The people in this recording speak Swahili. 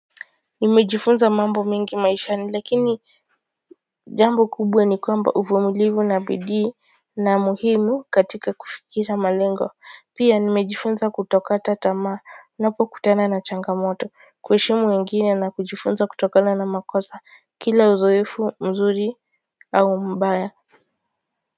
Nimejifunza mambo mingi maishani lakini jambo kubwe ni kwamba uvumilivu na bidii na muhimu katika kufikira malengo pia nimejifunza kutoka tamaa napokutana na changamoto kuheshimu wengine na kujifunza kutokana na makosa kila uzoefu mzuri au mbaya.